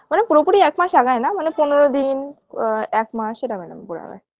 মানে পুরোপুরি একমাস আগায় না মানে পনের দিন আ এক মাস এরম এরম করে আগায়